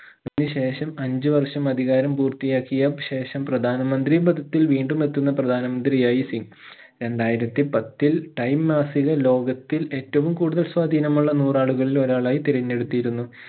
അതിനുശേഷം അഞ്ചു വർഷം അധികാരം പൂർത്തിയാക്കിയ ശേഷം പ്രധാനമന്ത്രി പഥത്തിൽ വീണ്ടും എത്തുന്ന പ്രധാനമന്ത്രിയായി സിംഗ് രണ്ടായിരത്തി പത്തിൽ time മാസിക ലോകത്തിൽ ഏറ്റവും കൂടുതൽ സ്വാതീനമുള്ള നൂറാളുകളിൽ ഒരാളായി തിരഞ്ഞെടുത്തിരുന്നു